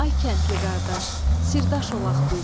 Ay kəndli qardaş, sirdaş olaq biz.